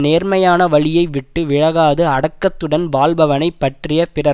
தன் நேர்மையான வழியை விட்டு விலகாது அடக்கத்துடன் வாழ்பவனை பற்றிய பிறர்